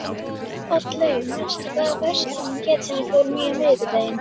Oddlaug, manstu hvað verslunin hét sem við fórum í á miðvikudaginn?